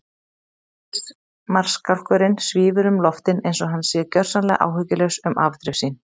Ríkismarskálkurinn svífur um loftin einsog hann sé gjörsamlega áhyggjulaus um afdrif sín.